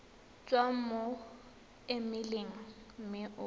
tswa mo emeileng mme o